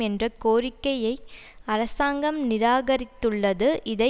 என்ற கோரிக்கைய அரசாங்கம் நிராகரித்துள்ளது இதை